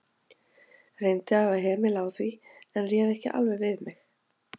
Reyndi að hafa hemil á því, en réð ekki alveg við mig.